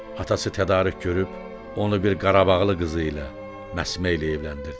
Atası tədarük görüb, onu bir Qarabağlı qızı ilə, Məsməliylə evləndirdi.